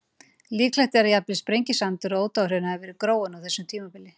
Líklegt er að jafnvel Sprengisandur og Ódáðahraun hafi verið gróin á þessu tímabili.